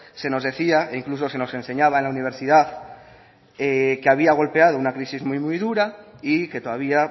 se nos decía e incluso se nos enseñaba en la universidad que había golpeado una crisis muy muy dura y que todavía